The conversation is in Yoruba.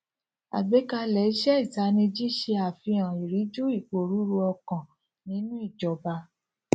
àgbékalẹ iṣẹ itaniji se àfihàn ìríjú iporuru okan nínú ìjọba